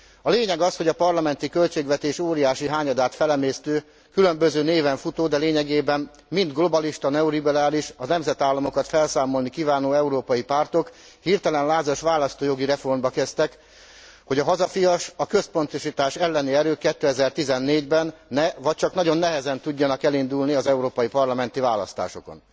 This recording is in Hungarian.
A lényeg az, hogy a parlamenti költségvetés óriási hányadát felemésztő, különböző néven futó, de lényegében mind globalista, neoliberális, a nemzetállamokat felszámolni kívánó európai pártok hirtelen lázas választójogi reformba kezdtek, hogy a hazafias, a központosítás elleni erők 2014 ben ne, vagy csak nagyon nehezen tudjanak elindulni az európai parlamenti választásokon.